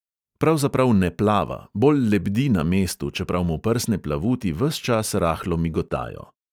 Pravzaprav ne plava, bolj lebdi na mestu, čeprav mu prsne plavuti ves čas rahlo migotajo.